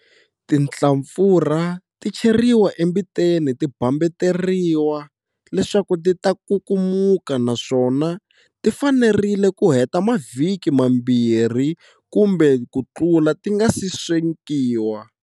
Tinhlampfurha ti cheriwa embiteni ti bambateriwa leswaku ti ta kukumuka naswona ti fanerile ku heta mavhiki mambirhi kumbe ku tlula ti nga si swekiwa.